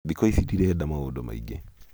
thĩkũ ici ndĩrenda maũndũ maingĩ